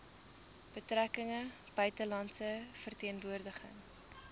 betrekkinge buitelandse verteenwoordiging